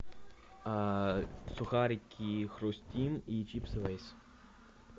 сухарики хрустим и чипсы лейс